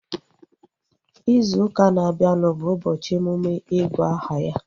Izu ụka na-abịanụ bụ ụbọchị emume igu aha ya